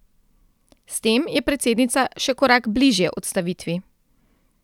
S tem je predsednica še korak bližje odstavitvi.